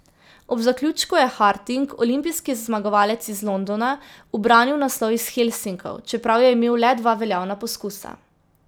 Ob zaključku je Harting, olimpijski zmagovalec iz Londona, ubranil naslov iz Helsinkov, čeprav je imel le dva veljavna poskusa.